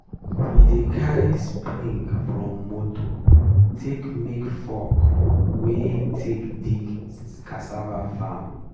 we dey cari spring from moto take make fork wey take dig cassava farm.